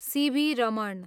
C.V.. Raman